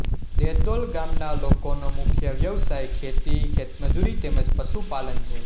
દેદોલ ગામના લોકોનો મુખ્ય વ્યવસાય ખેતી ખેતમજૂરી તેમ જ પશુપાલન છે